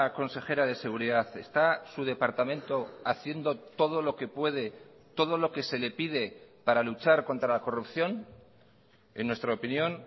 consejera de seguridad está su departamento haciendo todo lo que puede todo lo que se le pide para luchar contra la corrupción en nuestra opinión